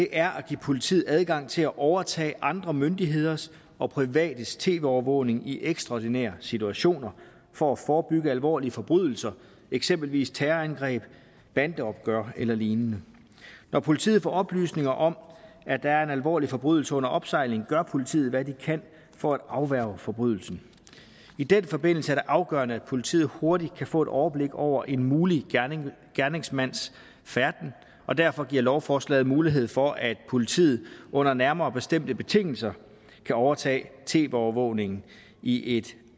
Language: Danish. er at give politiet adgang til at overtage andre myndigheders og privates tv overvågning i ekstraordinære situationer for at forebygge alvorlige forbrydelser eksempelvis terrorangreb bandeopgør eller lignende når politiet får oplysninger om at der er en alvorlig forbrydelse under opsejling gør politiet hvad de kan for at afværge forbrydelsen i den forbindelse er det afgørende at politiet hurtigt får et overblik over en mulig gerningsmands færden og derfor giver lovforslaget mulighed for at politiet under nærmere bestemte betingelser kan overtage tv overvågningen i et